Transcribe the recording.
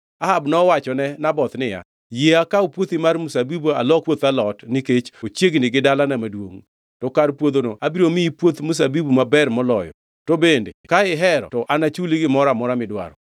Ahab nowachone Naboth niya, “Yie akaw puothi mar mzabibu alok puoth alot nikech ochiegni gi dalana maduongʼ. To kar puodhono abiro miyi puoth mzabibu maber moloyo, to bende ka ihero to anachuli gimoro amora midwaro.”